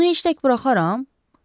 Onu heç tək buraxaram?